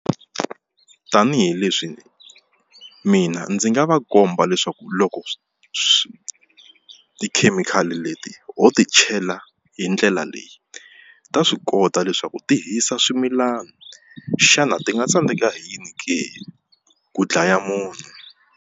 Tanihileswi mina ndzi nga va komba leswaku loko swi tikhemikhali leti ho ti chela hi ndlela leyi ta swi kota leswaku ti hisa swimilana xana ti nga tsandzeka hi yini ke ku dlaya munhu.